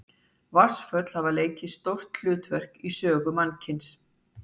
Vatnsföll hafa leikið stórt hlutverk í sögu mannkyns.